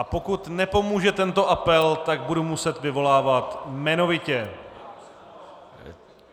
A pokud nepomůže tento apel, tak budu muset vyvolávat jmenovitě.